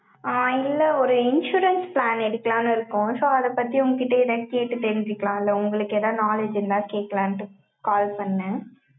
ஆஹ் இல்லை, ஒரு insurance plan எடுக்கலான்னு இருக்கோம். so அதைப் பத்தி, உங்க கிட்ட எதாவது கேட்டுத் தெரிஞ்சுக்கலாம் இல்லை? உங்களுக்கு ஏதாவது knowledge இருந்தால், கேக்கலான்ட்டு, call பண்ணேன்.